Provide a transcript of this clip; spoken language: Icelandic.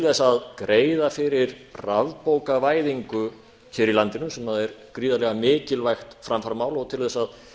þess að greiða fyrir rafbókavæðingu hér í landinu sem er gríðarlega mikilvægt framfaramál og til þess að